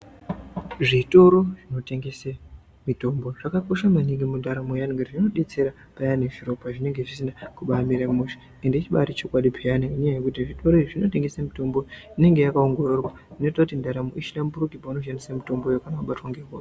Zvitoro zvinotengese mitombo zvakakosha maningi mundaramo yeantu ngekuti zvinodetsera payani zviro pazvinenge zvisina kumbamira mushe. Ende chibari chokwadi peyani ngenyaya yekuti zvitoro izvi zvinotengese mitombo inenge yakaongororwa inoite kuti ndaramo ihlamburike paunoshandisa mutombo iwoyo wabatwa ngehosha.